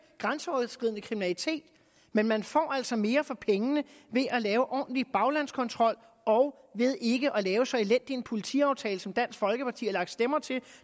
grænseoverskridende kriminalitet men man får altså mere for pengene ved at lave ordentlig baglandskontrol og ved ikke at lave så elendig en politiaftale som dansk folkeparti har lagt stemmer til